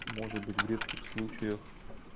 может быть в редких случаях